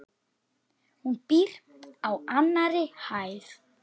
Hún býr á annarri hæð.